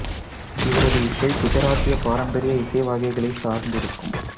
இவரது இசை குஜராத்திய பாரம்பரிய இசை வகைகளைச் சார்ந்து இருக்கும்